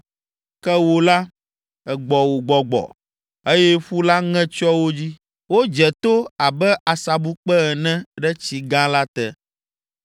Ke wò la, ègbɔ wò gbɔgbɔ, eye ƒu la ŋe tsyɔ wo dzi. Wodze to abe asabukpe ene ɖe tsi gã la te.